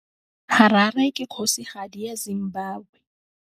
Harare ke kgosigadi ya Zimbabwe.